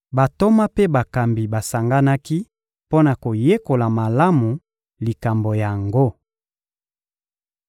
Bantoma mpe bakambi basanganaki mpo na koyekola malamu likambo yango.